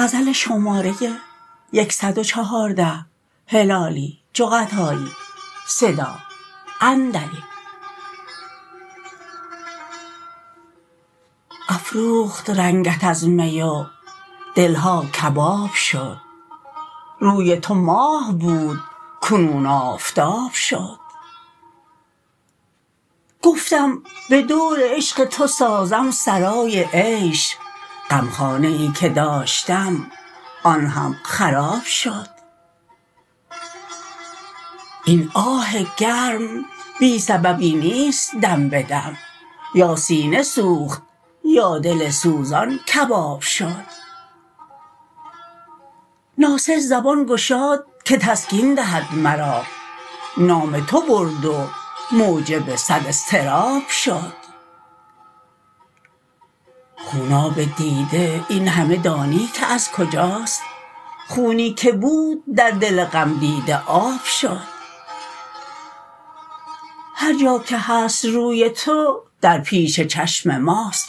افروخت رنگت از می و دلها کباب شد روی تو ماه بود کنون آفتاب شد گفتم بدور عشق تو سازم سرای عیش غم خانه ای که داشتم آن هم خراب شد این آه گرم بی سببی نیست دم بدم یا سینه سوخت یا دل سوزان کباب شد ناصح زبان گشاد که تسکین دهد مرا نام تو برد و موجب صد اضطراب شد خوناب دیده این همه دانی که از کجاست خونی که بود در دل غمدیده آب شد هر جا که هست روی تو در پیش چشم ماست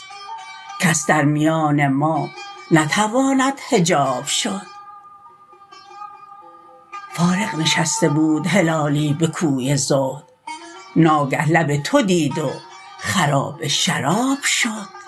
کس در میان ما نتواند حجاب شد فارغ نشسته بود هلالی بکوی زهد ناگه لب تو دید و خراب شراب شد